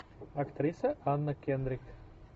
актриса анна кендрик